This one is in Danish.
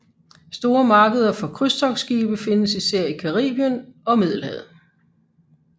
Store markeder for krydstogtskibe findes især i Caribien og Middelhavet